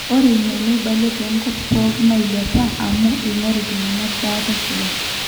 ore ina neibale toonkwapi pooki naailepa amu eing'oru iltung'anak baata sidai